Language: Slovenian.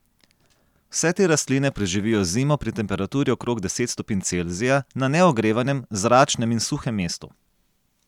Vse te rastline preživijo zimo pri temperaturi okrog deset stopinj Celzija na neogrevanem, zračnem in suhem mestu.